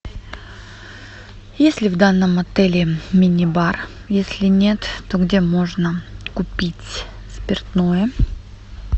есть ли в данном отеле мини бар если нет то где можно купить спиртное